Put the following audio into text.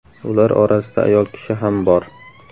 Ular orasida ayol kishi ham bor.